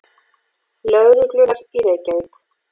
Lögreglunnar í Reykjavík.